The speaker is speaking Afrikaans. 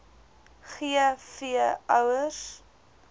g v ouers